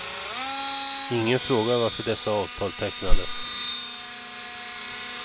Ingen frågar varför dessa avtal tecknades.